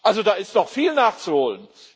Also da ist noch viel nachzuholen.